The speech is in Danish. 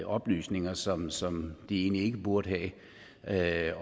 oplysninger som som de egentlig ikke burde have